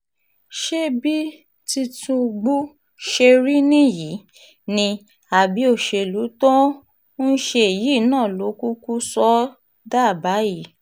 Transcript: ṣé bí tìtúngbù ṣe rí nìyí ni àbí òṣèlú tó um ń ṣe yìí náà ló kúkú sọ ọ́ um dà báyìí